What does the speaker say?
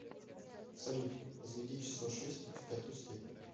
салют возведи число шесть в пятую степень